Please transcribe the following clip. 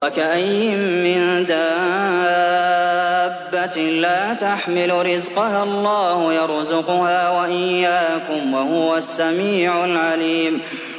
وَكَأَيِّن مِّن دَابَّةٍ لَّا تَحْمِلُ رِزْقَهَا اللَّهُ يَرْزُقُهَا وَإِيَّاكُمْ ۚ وَهُوَ السَّمِيعُ الْعَلِيمُ